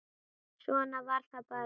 Svona var það bara.